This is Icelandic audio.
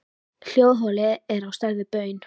Hljóðholið er á stærð við baun.